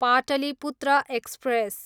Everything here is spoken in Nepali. पाटलीपुत्र एक्सप्रेस